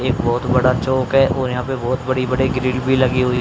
एक बहुत बड़ा चौक है और यहां पे बहुत बड़ी बड़े ग्रिल भी लगी हुई--